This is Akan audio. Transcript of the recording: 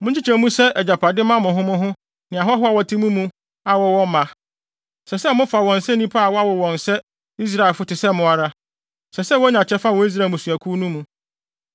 Monkyekyɛ mu sɛ agyapade mma mo ho ne ahɔho a wɔte mo mu a wɔwɔ mma. Ɛsɛ sɛ mofa wɔn sɛ nnipa a wɔawo wɔn sɛ Israelfo te sɛ mo ara; ɛsɛ sɛ wonya kyɛfa wɔ Israel mmusuakuw no mu.